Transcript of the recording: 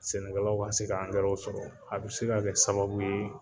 Sɛnɛkɛlaw ka se angɛrɛw sɔrɔ, a bɛ se ka kɛ sababu ye